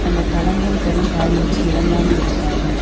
அந்த களங்கம் தரும் காரியத்தில் இறங்காமல் இருப்பார்கள்